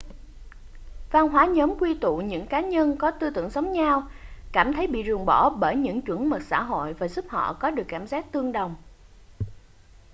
văn hóa nhóm quy tụ những cá nhân có tư tưởng giống nhau cảm thấy bị ruồng bỏ bởi những chuẩn mực xã hội và giúp họ có được cảm giác tương đồng